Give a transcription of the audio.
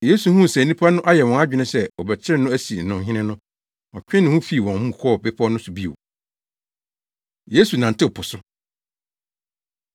Yesu huu sɛ nnipa no ayɛ wɔn adwene sɛ wɔbɛkyere no asi no hene no, ɔtwee ne ho fii wɔn mu kɔɔ bepɔw no so bio. Yesu Nantew Po So